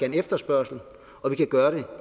en efterspørgsel og vi kan gøre det